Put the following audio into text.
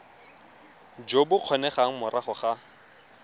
jo bo kgonegang morago ga